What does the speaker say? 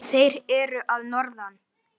Þeir eru að norðan.